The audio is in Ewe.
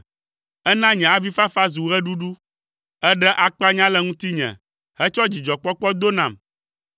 Èna nye avifafa zu ɣeɖuɖu; èɖe akpanya le ŋutinye hetsɔ dzidzɔkpɔkpɔ do nam,